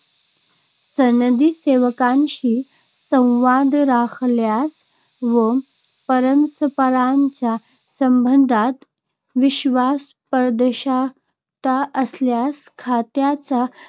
सनदी सेवकांशी संवाद राखल्यास व परस्परांच्या संबंधात विश्वास, पारदर्शकता असल्यास खात्याचा